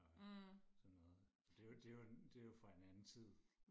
og sådan noget men det er jo det er jo det er jo fra en anden tid